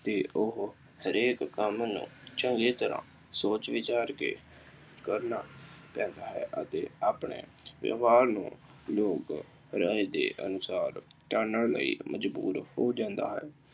ਅਤੇ ਉਹ ਹਰੇਕ ਕੰਮ ਨੂੰ ਚੰਗੀ ਤਰ੍ਹਾਂ ਸੋਚ ਵਿਚਾਰ ਕਰਕੇ ਕਰਨਾ ਲੈਂਦਾ ਹੈ ਅਤੇ ਆਪਣੇ ਵਿਵਹਾਰ ਨੂੰ ਲੋਕ ਰਾਏ ਦੇ ਅਨੁਸਾਰ ਜਾਨਣ ਲਈ ਮਜ਼ਬੂਰ ਹੋ ਜਾਂਦਾ ਹੈ।